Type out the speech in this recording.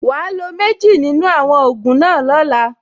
Wàá lo méjì nínú àwọn ògùn náà lọ́la.